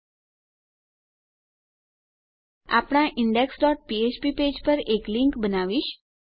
હું આપણા index dot ફ્ફ્પ પેજ પર એક લીંક બનાવીશ